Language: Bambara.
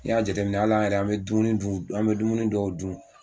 N'i y'a jateminɛ al'an yɛrɛ an be dumuni d'un an ne dumuni dɔw dun